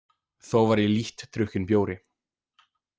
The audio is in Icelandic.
Þó var ég lítt drukkinn bjóri.